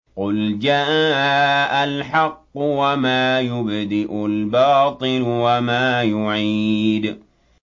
قُلْ جَاءَ الْحَقُّ وَمَا يُبْدِئُ الْبَاطِلُ وَمَا يُعِيدُ